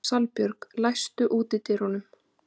Salbjörg, læstu útidyrunum.